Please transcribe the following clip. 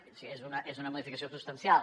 o sigui és una modificació substancial